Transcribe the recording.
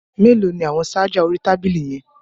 Mélòó ni àwọn ṣájà orí tábìlì yẹn.